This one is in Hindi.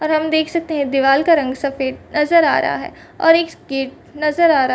और हम देख सकते है दीवाल का रंग सफ़ेद नज़र आ रहा है और एक किट नज़र आ रहा है।